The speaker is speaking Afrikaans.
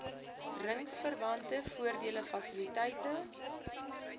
ringsverwante voordele fasiliteite